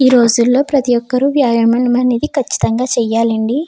ఈ రోజుల్లో ప్రతి ఒక్కరు వ్యాయామం అనేది కచ్చితంగా చేయాలండి.